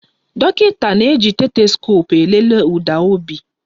Dọkịta na-eji stetoskoopu elele ụda obi